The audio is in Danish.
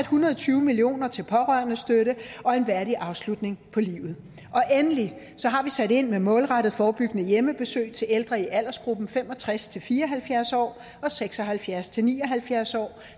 hundrede og tyve million kroner til pårørendestøtte og en værdig afslutning på livet endelig har vi sat ind med målrettede forebyggende hjemmebesøg til ældre i aldersgruppen fem og tres til fire og halvfjerds år og seks og halvfjerds til ni og halvfjerds år